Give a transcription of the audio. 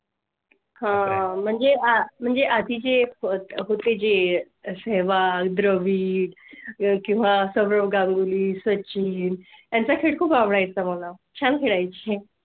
हां म्हणजे म्हणजे आह आधी चे होते. सेहवाग द्रविड किव्हा सौरभ गांगुली सचिन चा खेळ खूप आवडायचा. मला छळायचे. म्हणजे तेव्हा